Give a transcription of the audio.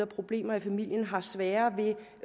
problemer i familien har sværere